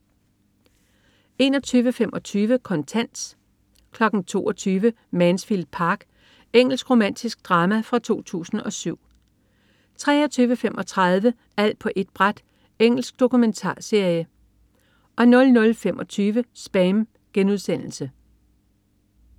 21.25 Kontant 22.00 Mansfield Park. Engelsk romantisk drama fra 2007 23.35 Alt på ét bræt. Engelsk dokumentarserie 00.25 SPAM*